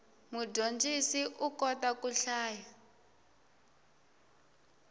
mudyondzisi u kota ku hlaya